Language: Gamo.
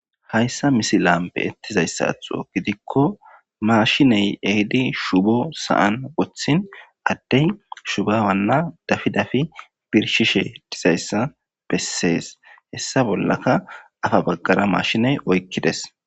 Hayssa misilan beettizayssatho gidikko maashiney ehidi shubo sa7an wothin addey shubawanna dafi dafi birshishe dizayssa bessees. Hessa bollaka afa baggara maashiney oykkides.